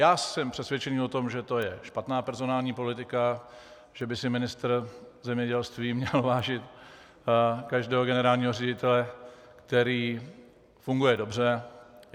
Já jsem přesvědčen o tom, že to je špatná personální politika, že by si ministr zemědělství měl vážit každého generálního ředitele, který funguje dobře.